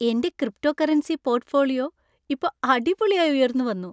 എന്‍റെ cryptocurrency portfolio ഇപ്പോ അടിപൊളിയായി ഉയർന്നു വന്നു.